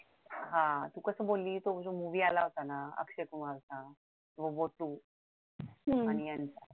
हा कस बोललीस तो movie आला होता ना तो अक्षय कुमारचा मोमोतु